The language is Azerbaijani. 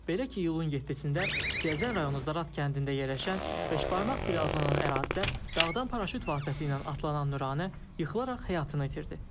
Belə ki, iyulun 7-də Siyəzən rayonu Zarat kəndində yerləşən beşbarmaq bir adlanan ərazidə dağdan paraşüt vasitəsilə atlanan Nuranə yıxılaraq həyatını itirdi.